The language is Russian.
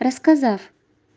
рассказав